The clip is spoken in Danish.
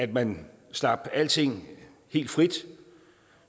man slap alting helt fri